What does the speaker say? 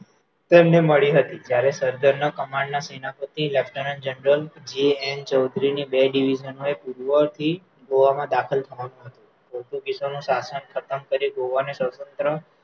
તેમને મળી હતી ત્યારે command ના સેનાપતિ lieutenant general J N Chaudhuri ને બે division વડે કૂદવાથી ગોવામાં દાખલ થવાનું હતું પોર્ટુગીઝોનું સાશન ખતમ કરી ગોવા ને સ્વતંત્ર